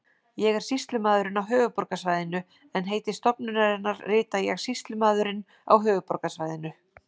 Ég er sýslumaðurinn á höfuðborgarsvæðinu en heiti stofnunarinnar rita ég Sýslumaðurinn á höfuðborgarsvæðinu.